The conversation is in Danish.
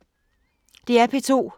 DR P2